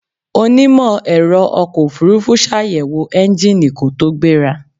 Onímọ̀-ẹ̀rọ ọkọ̀ ofurufú ṣàyẹ̀wò ẹ́ńgíìnì kó tó gbéra.